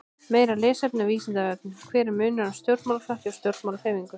Meira lesefni á Vísindavefnum: Hver er munurinn á stjórnmálaflokki og stjórnmálahreyfingu?